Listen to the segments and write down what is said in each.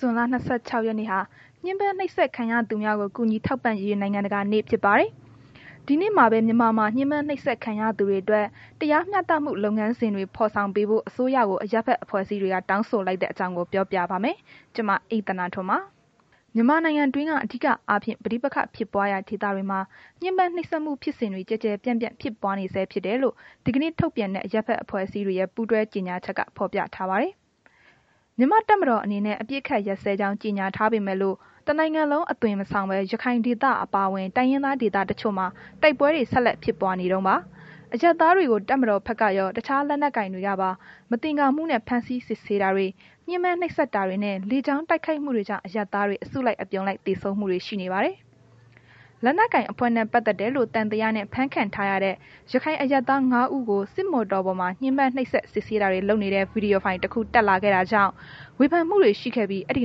ဇွန်လ ၂၆ ရက်နေ့ဟာ ညှဉ်းပန်းနှိပ်စက်ခံရသူများကို ကူညီထောက်ပံ့ ရေး နိုင်ငံတကာနေ့ဖြစ်ပါတယ်။ ဒီနေ့မှာပဲ မြန်မာမှာ ညှဉ်းပန်းနှိပ်စက်ခံရသူတွေအတွက် တရားမျှတမှု လုပ်ငန်းစဉ်တွေ ဖော်ဆောင်ပေးဖို့ အစိုးရကို အရပ်ဖက်အဖွဲ့အစည်းတွေက တောင်းဆိုလိုက်တဲ့ အကြောင်းကို မအိမ့်သန္တာထွန်း ပြောပြမှာပါ။ မြန်မာနိုင်ငံတွင်း အဓိက အားဖြင့် ပဋိပက္ခဖြစ်ပွားရာ ဒေသတွေမှာ ညှဉ်းပန်းနှိပ်စက်မှုဖြစ်စဉ်တွေ ကျယ်ကျယ်ပြန့်ပြန့်ဖြစ်ပွားနေဆဲဖြစ်တယ်လို့ ဒီနေ့ထုတ်ပြန်တဲ့ အရပ်ဖက်အဖွဲ့အစည်းတွေရဲ့ ပူးတွဲကြေညာချက်က ဖော်ပြထားပါတယ်။ မြန်မာတပ်မတော်အနေနဲ့ အပစ်အခတ်ရပ်စဲကြောင်း ကြေညာထားပေမယ့်လို့ တနိုင်ငံလုံး အသွင်မဆောင်ပဲ ရခိုင်ဒေသအပါအဝင် တိုင်းရင်းသားဒေသတွေတချို့မှာ တိုက်ပွဲတွေ ဆက်လက်ဖြစ်ပွားနေတုန်းပါ။ အရပ်သားတွေကို တပ်မတော်ဖက်ကရော အခြားလက်နက်ကိုင်တွေကပါ မသင်္ကာမှုနဲ့ ဖမ်းဆီးစစ်ဆေးတာတွေ၊ ညှဉ်းပန်းနှိပ်စက်တာတွေ နှင့် လေကြောင်းတိုက်ခိုက်မှုတွေကြောင့် အရပ်သားတွေ အစုလိုက်အပြုံလိုက် သေဆုံးမှုတွေ ရှိနေပါတယ်။ လက်နက်ကိုင်အဖွဲ့နဲ့ ပတ်သက်တယ်လို့ သံသယနဲ့ဖမ်းခံထားရတဲ့ ရခိုင် အရပ်သား ၅ ဦးကို စစ်မော်တော်ပေါ်မှာ ညှဉ်းပန်းနှိပ်စက် စစ်ဆေးတာတွေ လုပ်နေတဲ့ ဗွီဒီယိုဖိုင်တစ်ခု တက်လာခဲ့တာကြောင့် ဝေဖန်မှုတွေရှိခဲ့ပြီး၊ အဲဒီ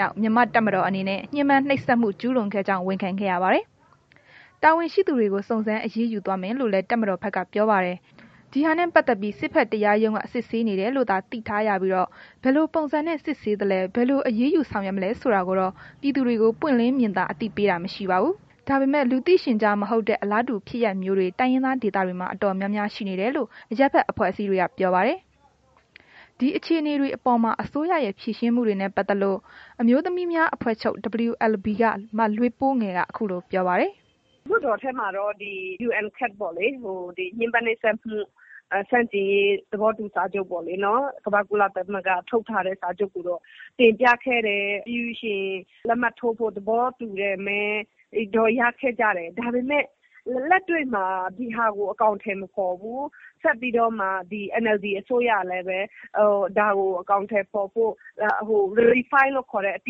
နောက် မြန်မာတပ်မတော်အနေနဲ့ ညှဉ်းပန်းနှိပ်စက်ဝန်ခံခဲ့ရပါတယ်။ တာဝန်ရှိသူတွေကို စုံစမ်း အရေးယူသွားမယ်လို့ လည်းတပ်မတော်ဘက်က ပြောပါတယ်။ ဒီဟာနဲ့ ပတ်သက်ပြီး စစ်ဘက်တရားရုံးက စစ်ဆေးနေတယ်လို့သာ သိထားရပြီး ဘယ်လိုပုံစံနဲ့ စစ်ဆေးသလဲ ဘယ်လို အရေးယူဆောင်ရွက် မလဲဆိုတာကိုတော့ ပြည်သူတွေကို ပွင့်လင်းမြင်သာ အသိပေးတာ မရှိပါဘူး။ ဒါပေမယ့် လူသိရှင်ကြား မဟုတ်တဲ့ အလားတူဖြစ်ရပ်မျိုးတွေ တိုင်းရင်းသားေဒေသတွေမှာ အတော်များများရှိနေတယ်လို့ အရပ်ဖက်အဖွဲ့တွေက ပြောပါတယ်။ ဒီအခြေအနေတွေအေပေါ် အစိုးရရဲ့ ဖြေရှင်းမှုတွေနဲ့ ပတ်သက်လို့ အမျိုးသမီးများအဖွဲ့ချုပ် WLB က မလွေးပိုးငယ်က ခုလိုပြောပါတယ်။ “လွတ်တော်ထဲမှာတော့ ညှဉ်းပန်းနှိပ်စက်မှု ဆန့်ကျင်ရေး သဘောတူစာချုပ်ပေ့ါလေ ကမ္ဘာ့ကုလသမဂ္ဂ ရဲ့ ထုတ်ထားတဲ့ စာချုပ်ကိုတော့ တင်ပြခဲ့တယ်။ ပြီးလို့ရှိရင် လက်မှတ်ထိုးဖို့ သဘောတူတဲ့ မဲတော့ ရခဲ့ကြတယ်၊ ဒါပေမယ့် လက်တွေ့မှာ ဒီဟာကို အကောင်အထည်မဖော်ဘူး။ ဆက်ပြီးတော့မှ NLD အစိုးရလည်းပဲ ဒါကို အကာင်အထည်ဖော်ဖို့ Verify လို့ ခေါ်တဲ့ အတ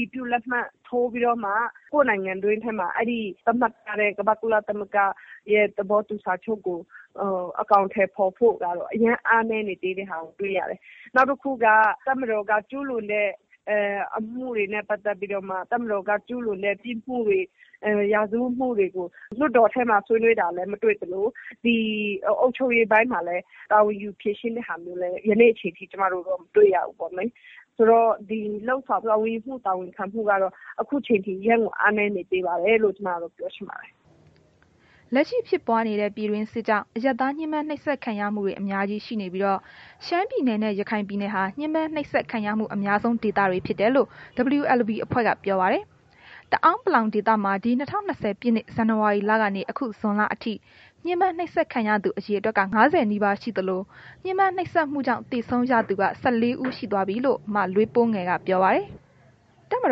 ည်ပြုလက်မှတ်ထိုးပြီးတော့မှ ကိုယ်နိုင်ငံတွင်းထဲမှာ အဲ့ဒီ သတ်မှတ်ထားတဲ့ ကမ္ဘာကုလသမ္မဂ္ဂရဲ့ သဘောတူစာချုပ်ကို အကောင်အထည်ဖော်ဖို့ကတော့ အရမ်းအားနည်းနေသေးတဲ့ဟာကို တွေ့ရတယ်။ နောက်တစ်ခုက တပ်မတော်က ကျူးလွန်တဲ့ အမှုတွေနဲ့ ပတ်သက်ပြီးတော့မှ တပ်မတော်က ကျူးလွန်တဲ့ ပြစ်မှုတွေ ရာဇဝတ်မှုတွေကို လွတ်တော်ထဲမှာ ဆွေးနွေးတာလည်း မတွေ့သလို အုပ်ချုပ်ရေးပိုင်းမှာ တာဝန်ယူပြီး ဖြေရှင်းတာမျိုးကိုလည်း ယနေ့အချိန်ထိ မတွေ့ရဘူးပေါ့လေ၊ ဆိုတော့ ဒီတာဝန်ယူမှု တာဝန်ခံမှု ကတော့ အခုအချိန်အထိ အရမ်းကို အားနည်းနေသေးပါတယ်လို့ ကျွန်မကတော့ ပြောချင်ပါတယ်။” လက်ရှိဖြစ်ပွားနေတဲ့ ပြည်တွင်းစစ်ကြောင့် အရပ်သားညှဉ်းပန်းနှိပ်စက်ခံရမှုတွေ အများကြီးရှိနေပြီး တော့ ရှမ်းပြည်နယ်နဲ့ ရခိုင်ပြည်နယ်ဟာ ညှဉ်းပန်းနှိပ်စက်ခံရမှု အများဆုံး ဒေသတွေဖြစ်တယ်လို့ WLB အဖွဲ့က ပြောပါတယ်။ တအောင်းပလောင်ဒေသမှာ ဒီ ၂၀၂၀ ပြည့်နှစ် ဇန်နဝါရီလကနေ ဇွန်လအထိ ညှဉ်းပန်ုးနှိပ်စက်ခံရသူအရေအတွက်က ၅၀ နီးပါး ရှိသလို ညှဉ်းပန်းနှိပ်စက်မှုကြောင့် သေဆုံးရသူက ၁၄ ဦး ရှိသွားပြီလို့ မလွေးပိုးငယ်က ဆိုပါတယ်။ တပ်မ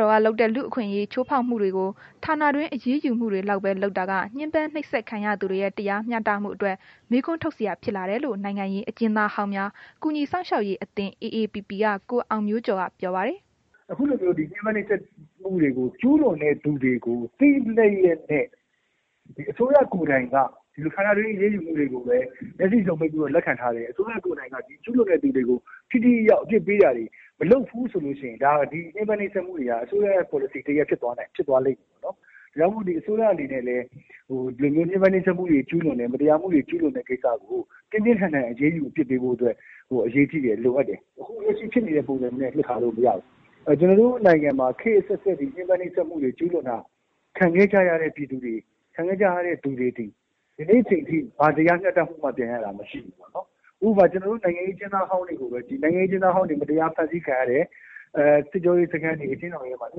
တော်က လုပ်တဲ့ လူ့အခွင့်အရေးချိုးဖောက်မှုတွေကို ဌာနတွင်း အရေးယူမှုတွေလောက်ပဲ လုပ်တာက ညှဉ်းပန်းနှိပ်စက်ခံရသူတွေရဲ့ တရားမျှတမှုအတွက် မေးခွန်းထုတ်စရာဖြစ်လာတယ်လို့ နိုင်ငံရေးအကျဉ်းသားဟောင်းများ ကူညီစောင့်ရှောက်ရေးအသင်း AAPP က ကိုအောင်မျိုးကျော်က ပြောပါတယ်။ “အခုလိုမျိုး ညှဉ်းပန်းနှိပ်စက်မှု ကျူးလွန်တဲ့သူတွေကို သိလျက်နဲ့ အစိုးရကိုယ်တိုင်က ဌာနတွင်း အရေးယူမှုတွေကိုပဲ မျက်စိစုံမှိတ်ပြီးတော့လက်ခံထားတယ်။ အစိုးရကိုယ်တိုင်က ဒီကျူးလွန်တဲ့ သူတွေကို ထိထိရောက်ရောက် အပြစ်ပေးတာတွေမလုပ်ဘူးဆိုရင် ဒီညှဉ်းပန်းနှိပ်စက်တာတွေက အစိုးရရဲ့ ပေါ်လစီတစ်ရပ် ဖြစ်သွားလိမ့်မယ်နှော်။ ဒါကြောင့်မို့ အစိုးရအနေနဲ့လည်း ဒီညှဉ်းပန်းနှိပ်စက်မှုတွေကျူးလွန်တဲ့ မတရားမှုတွေ ကျူးလွန်တဲ့ ကိစ္စကို ပြင်းပြင်းထန်ထန်အရေးယူ အပြစ်ပေးဖို့အတွက် လိုအပ်တယ်၊ အရေးကြီးတယ်။ ခုလက်ရှိဖြစ်နေတဲ့ ပုံစံမျိုးနဲ့ ပြစ်ထားလို့ မရဘူး။ ကျွန်တော်တို့ နိုင်ငံမှာ ခေတ်အဆက်ဆက် ဒီလို ညှဉ်းပန်းနှိပ်စက်မှုတွေ ကျူးလွန်လာတာ ခံခဲ့ကြရတဲ့ သူတွေက ယနေ့အချိန်ထိ ဘာတရားမျှတမှုမှ ပြန်ရခဲ့ကြတာမရှိဘူးပေါ့နှော်။ ဥပမာ ကျွန်တော်တို့ နိုင်ငံရေး အကျဉ်းသားဟောင်းတွေကိုပဲကြည့် နိုင်ငံရေး အကျဉ်းသားဟောင်းတွေ မတရား ဖမ်းဆီးခံရတယ်။ စစ်ကြောရေးစခန်းတွေ အကျဉ်းထောင်တွေမှာ ညှ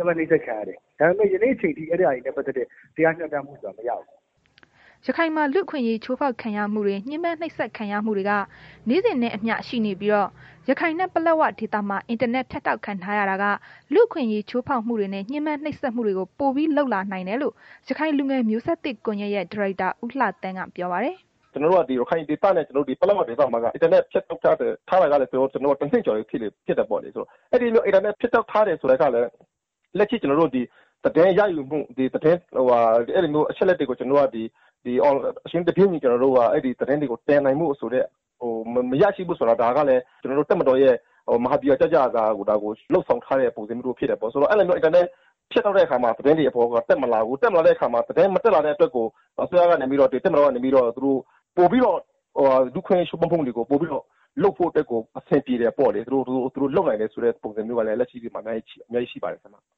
ဉ်းပန်းနှိပ်စက်ခံရတယ်၊ ဒါပေမယ့် ဒီနေ့အချိန်ထိ အဲ့တာတွေနဲ့ ပတ်သက်တဲ့ တရားမျှတမှုဆိုတာ ကျွန်တော်တို့မရဘူး။” ရခိုင်မှာ လူ့အခွင့်အရေးချိုးဖောက်ခံရမှုတွေ ညှဉ်းပန်းနှိပ်စက်ရမှုတွေက နေ့စဉ်နဲ့အမျှ ရှိနေပြီးတော့ ရခိုင်နဲ့ ပလက်ဝဒေသမှာ အင်တာနက်ဖြတ်တောက်ခံထားရတာက လူ့အခွင့်အရေးချိုးဖောက်မှုတွေနဲ့ ညှဉ်းပန်းနှိပ်စက်မှုတွေကို ပိုပြီး လုပ်လာနိုင်တယ်လို့ ရခိုင်လူငယ်မျိုးဆက်သစ် ကွန်ယက်ရဲ့ ဒါရိုက်တာ ဦးသန်းလှက ပြောပါတယ်။ “ကျွန်တော်တို့ ဒီရခိုင်ဒေသနဲ့ ပလက်ဝဒေသမှာက အင်တာနက်ဖြတ်တောက်ထားတာက တစ်နှစ်ကျော်ပြီ ဖြစ်တာပေါ့လေ။ အဲ့ဒီလို အင်တာနက်ဖြတ်တောက်ထားတယ်ဆိုတာကလည်း လက်ရှိ ကျွန်တော်တို့ဒီ သတင်းရယူမှု အဲ့ဒီလို အချက်အလက်တွေကို အချိန်နဲ့တပြေးညီ သတင်းတွေကို တင်နိုင်ဖို့ ရရှိဖို့ဆိုတာကလည်း တပ်မတော်ရဲ့ မဟာဗျူဟာကျကျ ဒါကို လုပ်ဆောင်ထားတာမျိုးဖြစ်နေတယ်။ အင်တာနက် ဖြတ်တောက်တဲ့ အခါမှာ သတင်းတွေက တက်မလာဘူး။ တက်မလာတဲ့အခါမှာ သတင်းမတက်လာတဲ့ အတွက်ကို တပ်မတော်ကနေပြီးတော့ လူ့အခွင့်အရေးချိုးဖောက်မှုတွေကို ပိုပြီတော့ လုပ်ဖို့အတွက်ကို အဆင်ပြေတယ်ပေါ့လေ။ သူတို့လုပ်နိုင်တယ် ဆိုတာမျိုးကလည်း လက်ရှိအချိန်မှာ အများကြီးရှိပါတယ် ခင်ဗျ။”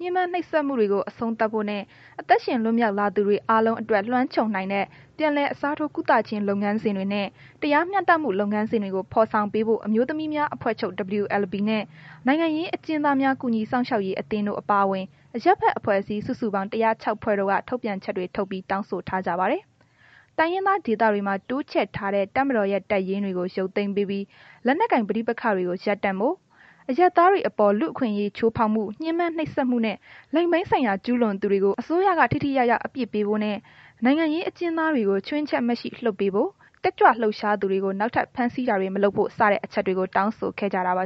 ညှဉ်းပန်းနှိပ်စက်မှုကို အဆုံးသတ်ဖို့နဲ့ အသက်ရှင်လွတ်မြောက်လာသူတွေ အားလုံးအတွက် လွမ်းခြုံနိုင်တဲ့ ပြန်လည်အစားထိုးကုသခြင်း လုပ်ငန်းစဉ်တွေနှင့် တရားမျှတမှုလုပ်ငန်းစဉ်တွေကို ဖော်ဆောင်ပေးဖို့ အမျိုးသမီးများအဖွဲ့ချုပ် WLB နှင့် နိုင်ငံရေးအကျဉ်းသားများကူညီ စောင့်ရှောက်ရေး အသင်းတို့ အပါအဝင် အရပ်ဖက် အဖွဲ့အစည်း စုစုပေါင်း ၁၀၆ ဖွဲ့တို့က ထုန်ပြန်ချက်တွေထုတ်ပြီး တောင်းဆိုထားကြပါတယ်။ တိုင်းရင်းသားဒေသတွေမှာ တိုးချဲ့ထားတဲ့ တပ်မတော်ရဲ့ တပ်ရင်းတွေကို ရုပ်သိမ်းပေးပြီး လက်နက်ကိုင်ပဋိပက္ခတွေကို ရပ်တန့်ဖို့၊ အရပ်သားတွေအပေါ်လူ့အခွင့်အရေးချိုးဖောက်မှု၊ ညှဉ်းပန်း နှိပ်စက်မှုနဲ့ လိင်ပိုင်းဆိုင်ရာ ကျူးလွန်သူတွေကို အစိုးရက ထိထိရောက်ရောက် အပြစ်ပေးဖို့နှင့် နိုင်ငံရေးအကျဉ်းသားတွေကို ချွင်းချက်မရှိလွတ်ပေးဖို့၊ တက်ကြွလှုပ်ရှားသူတွေကို နောက်ထပ် ဖမ်းဆီးတာတွေမလုပ်ဖို့ စတဲ့ အချက်တွေကို တောင်းဆိုခဲ့ကြတာပါ